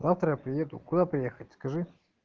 завтра приеду куда приехать скажи